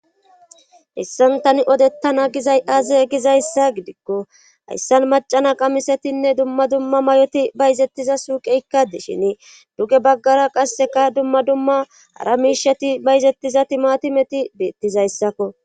hessan tani odettana gizay aze gizayssa gidikko hayssan macana qamisetinne dumma dumma may7oti bayzettiza suuqeykka deshini duge baggara qasseka dumma dumma ara miisheti bayzettiza timati meti beettizayssakko